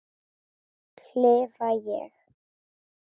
klifa ég.